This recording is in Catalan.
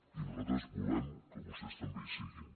i nosaltres volem que vostès també hi siguin